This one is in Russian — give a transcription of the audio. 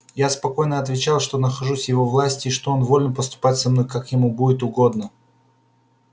я спокойно отвечал что нахожусь в его власти и что он волен поступать со мной как ему будет угодно